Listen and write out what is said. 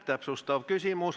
Täpsustav küsimus.